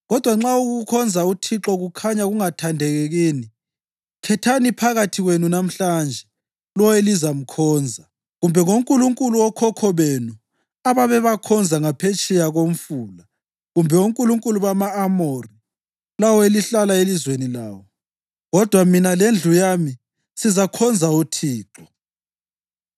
Kodwa nxa ukukhonza uThixo kukhanya kungathandeki kini, khethani phakathi kwenu namhlanje lowo elizamkhonza, kumbe ngonkulunkulu okhokho benu ababebakhonza ngaphetsheya koMfula kumbe onkulunkulu bama-Amori, lawo elihlala elizweni lawo. Kodwa mina lendlu yami sizakhonza uThixo.”